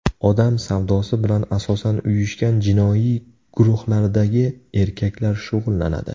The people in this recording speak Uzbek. Odam savdosi bilan asosan uyushgan jinoiy guruhlardagi erkaklar shug‘ullanadi.